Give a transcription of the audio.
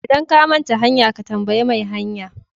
Idan ka manta hanya, ka tambayi mai hanya.